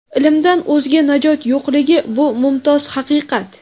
Ilmdan o‘zga najot yo‘qligi – bu mumtoz haqiqat.